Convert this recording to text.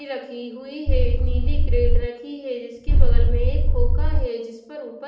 रखी हुई है नीली क्रेट रखी है जिसके बगल में एक खोका है जिस पर ऊपर--